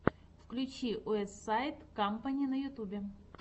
включи уэстсайд кампани на ютубе